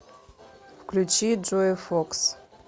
включи джое фокс